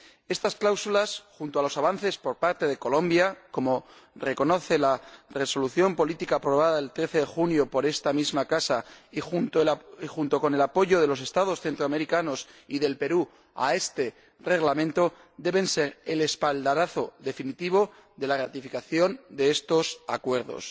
Estas cláusulas, junto con los avances por parte de Colombia, como reconoce la Resolución política aprobada el 13 de junio por esta misma casa, y junto con el apoyo de los Estados centroamericanos y de Perú a este Reglamento, deben ser el espaldarazo definitivo a la ratificación de estos acuerdos.